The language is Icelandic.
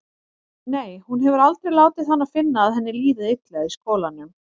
Nei, hún hefur aldrei látið hana finna að henni líði illa í skólanum.